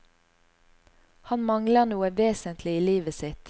Han mangler noe vesentlig i livet sitt.